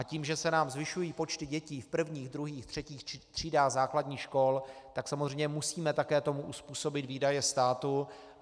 A tím, že se nám zvyšují počty dětí v prvních, druhých, třetích třídách základních škol, tak samozřejmě musíme také tomu uzpůsobit výdaje státu.